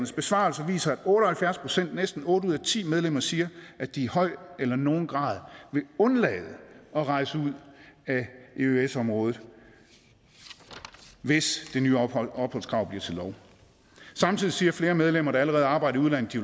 besvarelser viser at otte og halvfjerds procent næsten otte ud af ti medlemmer siger at de i høj eller nogen grad vil undlade at rejse ud af eøs området hvis det nye opholdskrav bliver til lov samtidig siger flere medlemmer der allerede arbejder i udlandet